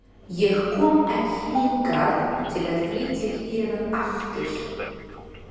Ég kom ekki hingað til að flytja héðan aftur.